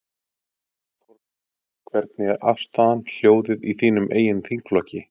Þorbjörn: Hvernig er afstaðan, hljóðið í þínum eigin þingflokki?